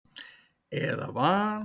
eða van.